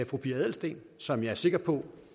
fru pia adelsteen som jeg er sikker på